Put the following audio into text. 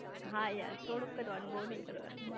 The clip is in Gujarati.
હા યાર થોડુંક કરવાનું બઉ નઈ કરવાનું